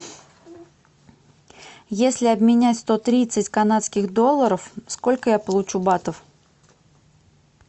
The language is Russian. если обменять сто тридцать канадских долларов сколько я получу батов